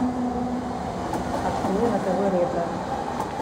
открой на тв ретро